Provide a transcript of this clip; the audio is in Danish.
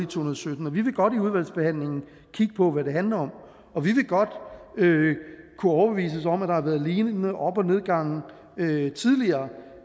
tusind og sytten vi vil godt i udvalgsbehandlingen kigge på hvad det handler om og vi vil godt kunne overbevises om at der har været lignende op og nedgange tidligere